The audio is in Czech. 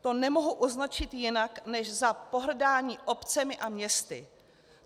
To nemohu označit jinak než za pohrdání obcemi a městy.